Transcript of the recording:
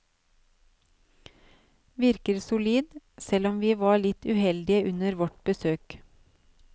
Virker solid, selv om vi var litt uheldige under vårt besøk.